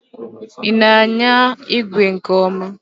Ị na anya igwe nke ọma?